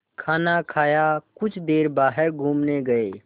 खाना खाया कुछ देर बाहर घूमने गए